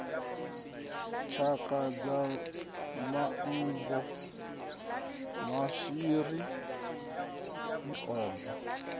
tshaka sa manngo maswiri miomva